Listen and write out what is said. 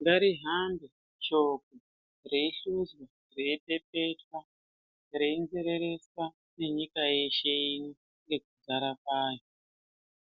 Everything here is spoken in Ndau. Ngarihambe shoko reihluswa reipepetwa renzerereswa nenyika yeshe nekudzara kwayo